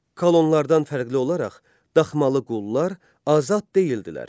Kolonlardan fərqli olaraq daxmalı qullar azad deyildilər.